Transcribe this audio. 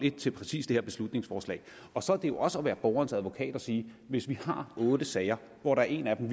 en til præcis det her beslutningsforslag og så er det jo også at være borgerens advokat at sige hvis vi har otte sager hvor der er en af dem